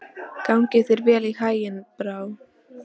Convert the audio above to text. Gangi þér allt í haginn, Brá.